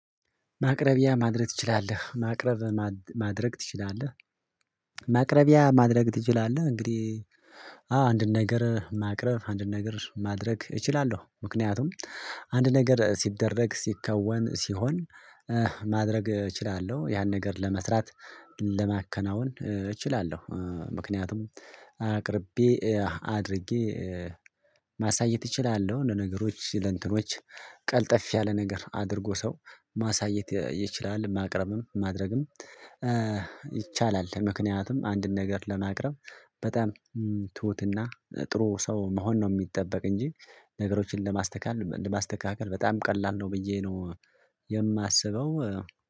ማቅረቢያ ማድረግ ትችላለህ ማቅረብ ማድረግ ትችላለህ? ማቅረቢያ ማድረግ ትችላለህ እንግዲህ አዎ አንድን ነገር ማቅረብ አንድን ነገር ማድረግ እችላለሁ። ምክንያቱም አንድ ነገር ሲደረግ ሲከወን ሲሆን ማድረግ እችላለሁ ያን ነገር ለመስራት ለማከናወን እችላለሁ። ምክንያቱም አቅርቤ አድርጌ ማሳየት እችላለሁ ለነገሮች ለእንትኖች ቀልጠፍ ያለ ነገር አድርጎ ሰው ማሳየት ይችላል ማቅረብም ማድረግም ይቻላል። ምክንያቱም አንድን ነገር ለማቅረብ በጣም ትሁትና ጥሩ ሰው መሆን ነው የሚጠበቅ እንጂ ነገሮችን ለማስተካከል በጣም ቀላል ነው ብዬ ነው የማስበው